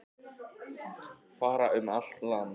Fara um allt land